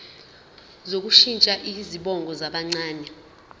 sokushintsha izibongo zabancane